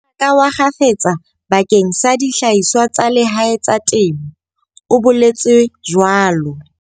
Mmaraka wa kgafetsa bakeng sa dihlahiswa tsa lehae tsa temo, o boletswe jwalo.